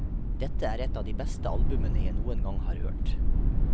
Dette er et av de beste albumene jeg noen gang har hørt.